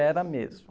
Era mesmo.